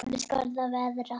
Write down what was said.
Þannig skal það verða.